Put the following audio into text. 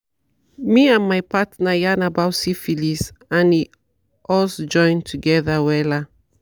me and my partner yarn about syphilis and e us join together wella